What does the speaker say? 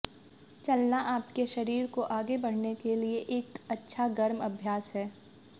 चलना आपके शरीर को आगे बढ़ने के लिए एक अच्छा गर्म अभ्यास है